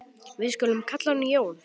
Við skulum kalla hann Jón.